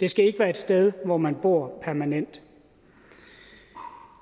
det skal ikke være et sted hvor man bor permanent